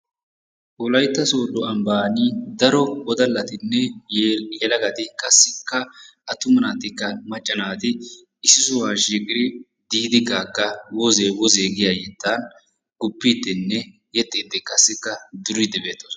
Wolaytta soodo ambban daro wodalattinne yelagati qassikka attuma naatikka, macca naati issi sohuwa shiiqqidi Didi Gaga woze wozee giya yettaa guppidinne yexxidi qassikka duriidi beettoosona.